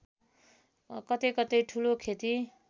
कतैकतै ठूलो खेती